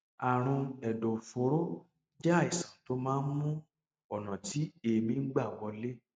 àrùn ẹdọfóró jẹ àìsàn tó máa ń mú ọnà tí èémí ń gbà wọlé